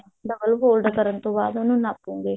double fold ਕਰਨ ਤੋਂ ਬਾਅਦ ਉਹਨੂੰ ਨਾਪਾਂਗੇ